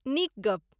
नीक गप्प ।